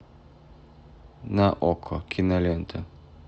на окко кинолента